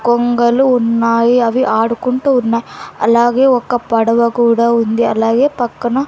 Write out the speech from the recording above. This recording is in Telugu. కొంగలు ఉన్నాయి అవి ఆడుకుంటూ ఉన్నాయ్ అలాగే ఒక పడవ కూడా ఉంది అలాగే పక్కన--